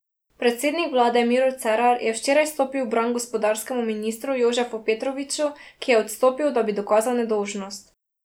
Predsednik vlade Miro Cerar je včeraj stopil v bran gospodarskemu ministru Jožefu Petroviču, ki je odstopil, da bi dokazal nedolžnost.